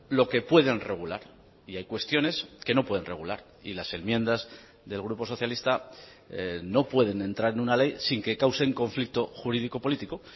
lo que pueden regular y hay cuestiones que no pueden regular y las enmiendas del grupo socialista no pueden entrar en una ley sin que causen conflicto jurídico político